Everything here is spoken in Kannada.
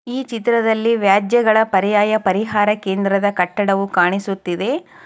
ಈ ಚಿತ್ರದ್ದಲಿ ವ್ಯಾಜ್ಯಯಗಳ ಪರಿಯಯಾ ಪರಿಹಾರ ಕೇಂದ್ರದ ಕಟ್ಟಡವು ಕಾಣಿಸುತ್ತಿವೆ.